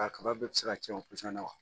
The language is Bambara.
A kaba bɛɛ bɛ se ka cɛn o na wa